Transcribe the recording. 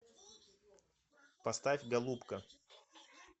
поставь голубка